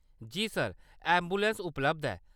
जी sir, ambulance उपलब्ध ऐ।